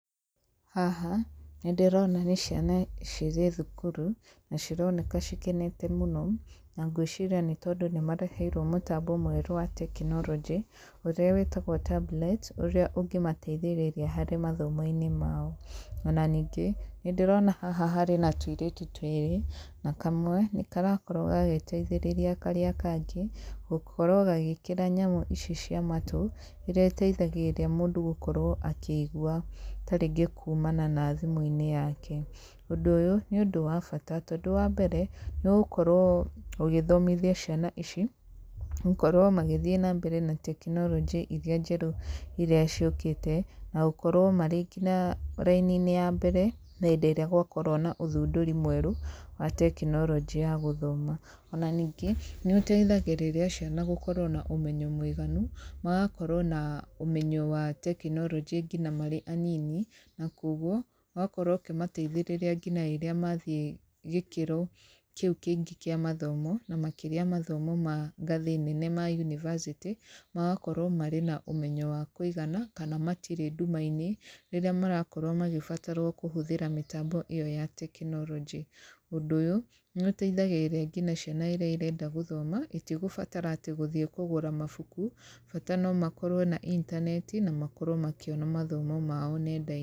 Haha, nĩ ndirona nĩ ciana cirĩ thukuru na cironeka cikenete mũno na ngwĩciri nĩ tondũ nĩ mareheirwo mũtambo mwerũ wa tekinoronjĩ, ũrĩa wĩtagwo tablet ũrĩa ũngĩmateithĩrĩria harĩ mathomo-inĩ mao. Ona ningĩ, nĩ ndirona haha harĩ na tũirĩtu twĩrĩ na kamwe nĩ karakorwo gagĩteithĩrĩria karĩa kangĩ gũkorwo gagĩkĩra nyamũ ici cia matũ iria iteithagĩrĩria mũndũ gũkorwo akĩigua ta ringĩ kumana na thimũ yake. Ũndũ ũyũ nĩ ũndũ wa bata tondũ wa mbere, nĩ ũgũkorwo ũgĩthomithia ciana ici gũkorwo magĩthiĩ na mbere na tekinoronjĩ iria njerũ iria ciũkĩte. Na gũkorwo marĩ nginya raini-inĩ ya mbere hĩndĩ ĩrĩa gwakorwo na ũthundũri mwerũ wa tekinoronjĩ ya gũthoma. Ona ningĩ nĩ ũteithagĩrĩria ciana gũkorwo na ũmenyo mũiganu magakorwo na ũmenyo wa tekinoronjĩ nginya marĩ anini na koguo ũgakorwo ũkĩmateithĩrĩria ngina rĩrĩa mathiĩ gĩkĩro kĩu kĩngĩ kĩa mathomo makĩria mathomo ma ngathĩ nene ma university, magakorwo marĩ na ũmenyo wa kũigana kana matirĩ nduma-inĩ. Rĩrĩa marakorwo magĩbatarwo kũhũthĩra mĩtambo ĩyo ya tekinoronjĩ. Ũndũ ũyũ nĩ ũteithagĩrĩria nginya ciana iria irenda gũthoma itigũbatara atĩ gũthiĩ kũgũra mabuku bata no makorwo na intaneti na makorwo makĩona mathomo mao nenda-inĩ.